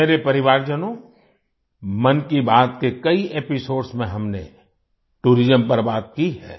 मेरे परिवारजनों मन की बात के कई एपिसोड्स में हमने टूरिज्म पर बात की है